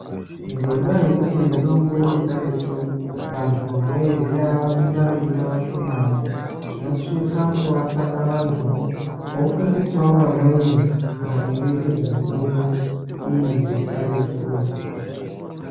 Ngendaa yekuti mitombo yekaretu vantu vanoiziya vakuita veiite vashomani, tinosisa kuvatsvaka vantuwo vofundisawo vamweni maringe ngezvemitombo iyi yekaretu.